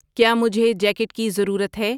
کیا مجھے جیکیٹ کی ضرورت ہے